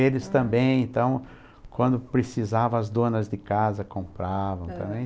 Eles também, então, quando precisavam, as donas de casa compravam também.